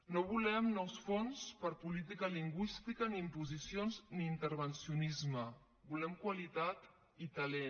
no volem nous fons per a política lingüística ni imposicions ni intervencionisme volem qualitat i talent